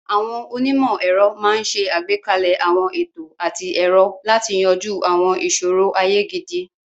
Àwọn onímọ̀-ẹ̀rọ máa ń ṣe àgbékalẹ̀ àwọn ètò àti ẹ̀rọ láti yanjú àwọn ìṣòro ayé gidi.